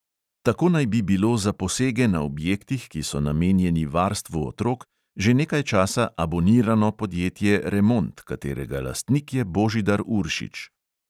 Tako naj bi bilo za posege na objektih, ki so namenjeni varstvu otrok, že nekaj časa "abonirano" podjetje remont, katerega lastnik je božidar uršič.